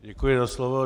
Děkuji za slovo.